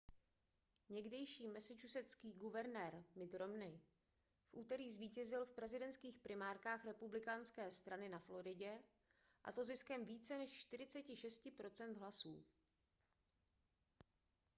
někdejší massachusettský guvernér mitt romney v úterý zvítězil v prezidentských primárkách republikánské strany na floridě a to ziskem více než 46 % hlasů